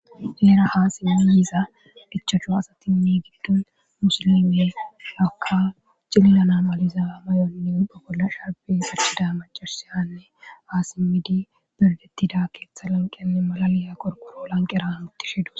heera haasimemiiza dhichachu asatinni giddon musolimee lakka cililanamaliza may7onni uba bolla sharbi sirsida macarhusiyanne aasimidi berdettida keeththa lanqenne malaliya qorqoro lanq eran utti she du